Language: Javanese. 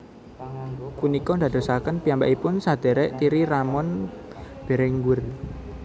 Punika ndadosaken piyambakipun sadhèrèk tiri Ramon Berenguer